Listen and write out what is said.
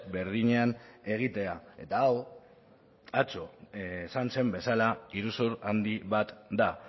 berdinean egitea eta hau atzo esan zen bezala iruzur handi bat da